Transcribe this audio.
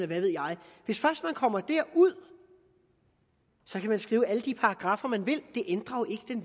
ved jeg hvis først man kommer derud kan man skrive alle de paragraffer man vil det ændrer